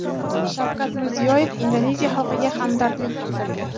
Shavkat Mirziyoyev Indoneziya xalqiga hamdardlik bildirdi.